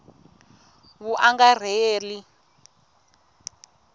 vuangarheli